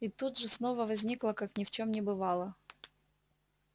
и тут же снова возникла как ни в чём не бывало